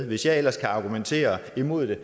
hvis jeg ellers kan argumentere imod det